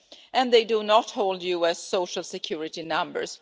and do not hold US social security numbers.